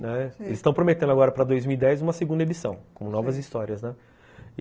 Né, eles estão prometendo agora para dois mil e dez uma segunda edição, com novas histórias, né.